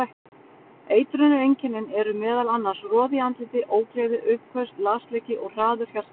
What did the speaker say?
Eitrunareinkennin eru meðal annars roði í andliti, ógleði, uppköst, lasleiki og hraður hjartsláttur.